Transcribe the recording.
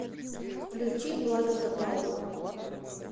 включи влада топалова